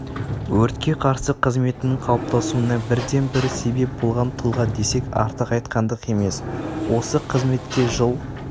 өртке қарсы қызметінің қалыптасуына бірден-бір себеп болған тұлға десек артық айтқандық емес осы қызметке жыл